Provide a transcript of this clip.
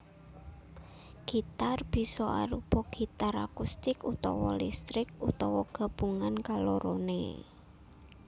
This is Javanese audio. Gitar bisa arupa gitar akustik utawa listrik utawa gabungan kaloroné